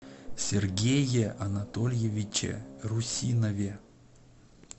сергее анатольевиче русинове